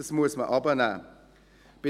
Man muss es hinunternehmen.